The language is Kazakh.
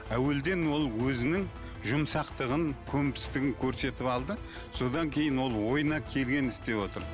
әуелден ол өзінің жұмсақтығын көнбістігін көрсетіп алды содан кейін ол ойына келгенін істеп отыр